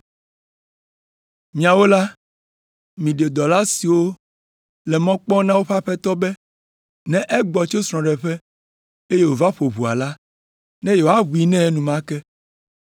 Miawo la, miɖi dɔla siwo le mɔ kpɔm na woƒe aƒetɔ be ne egbɔ tso srɔ̃ɖeƒe eye wòva ƒo ʋɔa la, ne yewoaʋui nɛ enumake.